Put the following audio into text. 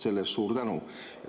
Selle eest suur tänu!